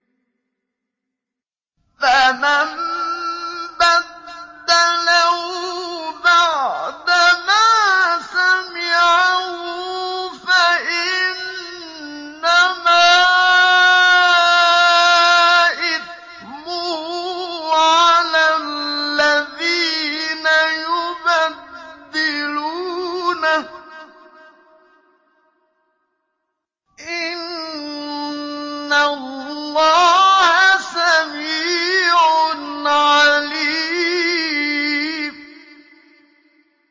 فَمَن بَدَّلَهُ بَعْدَمَا سَمِعَهُ فَإِنَّمَا إِثْمُهُ عَلَى الَّذِينَ يُبَدِّلُونَهُ ۚ إِنَّ اللَّهَ سَمِيعٌ عَلِيمٌ